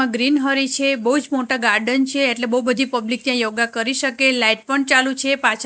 આ ગ્રીન હરી છે બોજ મોટા ગાર્ડન છે એટલે બો બધી પબ્લિક ત્યાં યોગા કરી શકે લાઇટ પણ ચાલુ છે પાછળ--